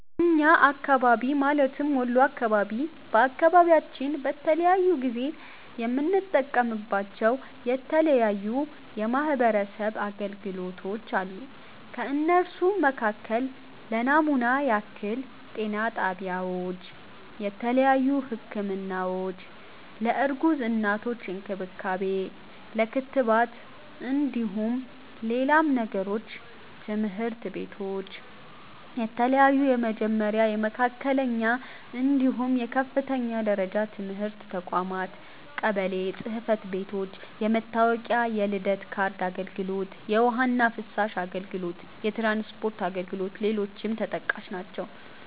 እኛ አካባቢ ማለትም ወሎ አካባቢ፤ በአካባቢያችን በተለያየ ጊዜ የምንጠቀማቸው የተለያዩ የማሕበረሰብ አገልግሎቶች አሉ። ከእነሱም መካከል ለናሙና ያክል - ጤና ጣቢያዎች:- ለተያዩ ህክምናዎች፣ ለእርጉዝ እናቶች እንክብካቤ፣ ለክትባት እንደሁም ሌላም ነገሮችን - ትምህርት ቤቶች :- የተለያዩ የመጀመሪያ፣ የመካከለኛ፣ እንድሁም የከፍተኛ ደረጃ ትምህርት ተቋማት - ቀበሎ ጽህፈት ቤቶች- የመታወቂያ፣ የልደት ካርድ አገልግሎት - የውሀ እና ፍሳሽ አገልግሎቶች - የትራንስፖርት አገልግሎ ሌሎችም ተጠቃሽ ናቸው።